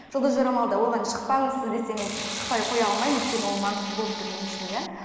жұлдыз жорамалда оған шықпаңыз сіз десе мен шықпай қоя алмаймын өйткені ол маңызды болып тұр мен үшін иә